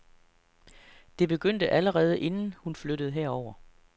Det begyndte allerede inden, hun flyttede herover.